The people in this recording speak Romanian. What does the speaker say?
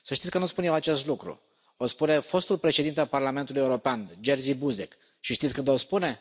Să știți că nu spun eu acest lucru, o spune fostul Președinte al Parlamentului European, Jerzy Buzek, și știți când o spune?